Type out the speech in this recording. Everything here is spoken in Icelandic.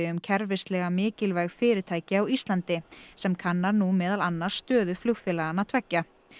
um kerfislega mikilvæg fyrirtæki á Íslandi sem kannar nú meðal annars stöðu flugfélaganna tveggja